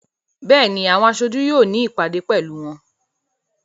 Béèni, àwọn aṣojú yóò ní ìpàdé pẹ̀lú wọn.